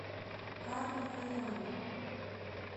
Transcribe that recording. ар райян